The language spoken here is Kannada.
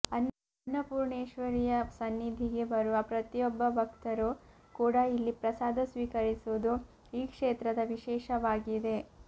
ಅನ್ನಪೂರ್ಣೇಶ್ವರಿಯ ಸನ್ನಿಧಿಗೆ ಬರುವ ಪ್ರತಿಯೊಬ್ಬ ಭಕ್ತರೂ ಕೂಡ ಇಲ್ಲಿ ಪ್ರಸಾದ ಸ್ವೀಕರಿಸುವುದು ಈ ಕ್ಷೇತ್ರದ ವಿಶೇಷವಾಗಿದೆ